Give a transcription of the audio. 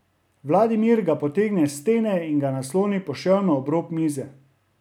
Vladimir ga potegne s stene in ga nasloni poševno ob rob mize.